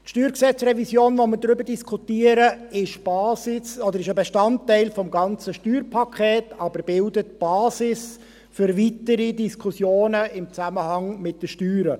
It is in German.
Die StG-Revision, über die wir diskutieren, ist ein Bestandteil des gesamten Steuerpakets, aber bildet die Basis für weitere Diskussionen im Zusammenhang mit den Steuern.